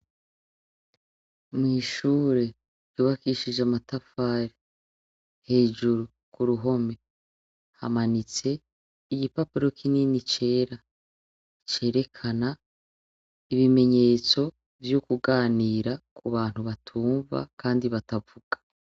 Mw'ishure ryubakishije amatafari hejuru ku ruhome hamanitse igipapuro kinini cera cerekana ibimenyetso vy'ukuganira ku bantu batumva kandi batavuga.